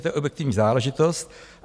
To je objektivní záležitost.